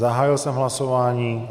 Zahájil jsem hlasování.